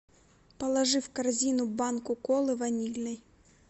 положи в корзину банку колы ванильной